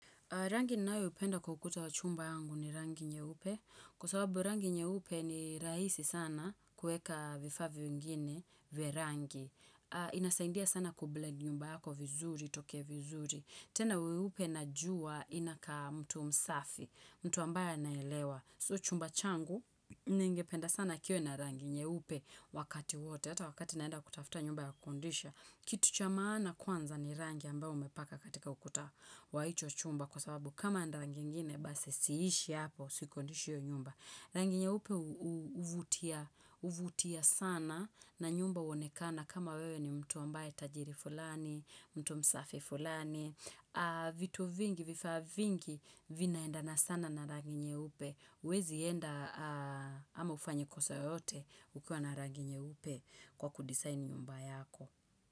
Rangi ninayopenda kwa ukuta wa chumba yangu ni rangi nyeupe. Kwa sawabu rangi nyeupe ni rahisi sana kuweka vifaa vingine vya rangi. Inasaidia sana kublend nyumba yako vizuri, itoke vizuri. Tena ueupe najua inakaa mtu msafi, mtu ambaye anaelewa. So chumba changu ningependa sana kiwe na rangi nyeupe wakati wote. Hata wakati naenda kutafta nyumba ya kukodisha. Kitu cha maana kwanza ni rangi ambayo umepaka katika ukuta wa hicho chumba. Kwa sababu kama ni rangi ingine, basi siishi hapo, siikodishi hiyo nyumba. Rangi nyeupe huvutia sana na nyumba huonekana. Kama wewe ni mtu ambaye tajiri fulani, mtu msafi fulani. Vitu vingi, vifaa vingi, vinaendana sana na rangi nyeupe. Huwezi enda ama ufanye kosa yoyote ukiwa na rangi nyeupe kwa kudisaini nyumba yako.